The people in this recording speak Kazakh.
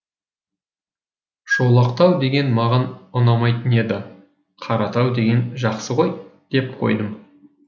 шолақтау деген маған ұнамайтын еді қаратау деген жақсы ғой деп қойдым